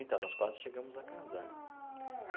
Então, nós quase chegamos a casar.